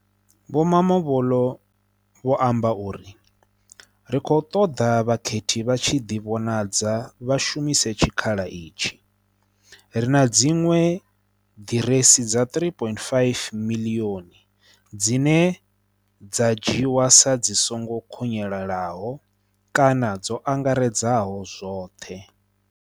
Vho Mamabolo vho amba uri, ri khou ṱoḓa vhakhethi vha tshi ḓivhonadza vha shumise tshikh-ala itshi. Ri na dziṅwe ḓiresi dza 3.5 miḽioni dzine dza dzhi wa sa dzi songo khunyelelahokana dzo angaredzaho zwoṱhe.